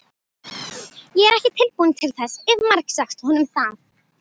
Ég er ekki tilbúin til þess, hef margsagt honum það.